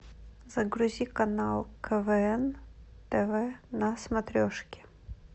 загрузи канал квн тв на смотрешке